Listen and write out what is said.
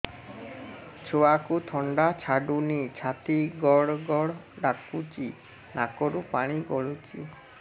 ଛୁଆକୁ ଥଣ୍ଡା ଛାଡୁନି ଛାତି ଗଡ୍ ଗଡ୍ ଡାକୁଚି ନାକରୁ ପାଣି ଗଳୁଚି